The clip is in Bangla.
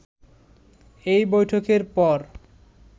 এই বৈঠকের পর